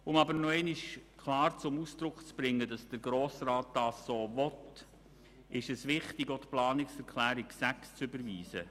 Um aber noch einmal klar zum Ausdruck zu bringen, dass der Grosse Rat dies so will, ist es wichtig, auch die Planungserklärung 6 zu überweisen.